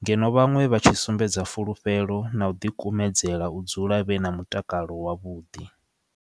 ngeno vhaṅwe vha tshi sumbedza fulufhelo na u ḓi kumedzela u dzula vhe na mutakalo wavhuḓi.